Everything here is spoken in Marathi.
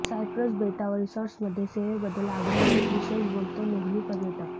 सायप्रस बेटावर रिसॉर्ट्स मध्ये सेवेबद्दल आग्रह एक विशेष बोलतो नेहमी पर्यटक